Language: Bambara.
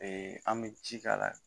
an bɛ ji k'a la.